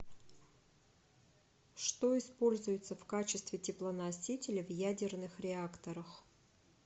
что используется в качестве теплоносителя в ядерных реакторах